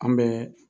An bɛ